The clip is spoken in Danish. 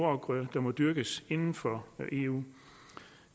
afgrøder der må dyrkes inden for eu